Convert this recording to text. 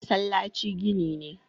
masallaci gini ne